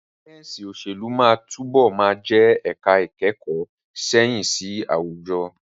Sáyẹ̀nsì òṣèlú máa túbọ̀ máa jẹ́ ẹ̀ka ìkẹ́kọ̀ọ́ sáyẹ̀nsì àwùjọ.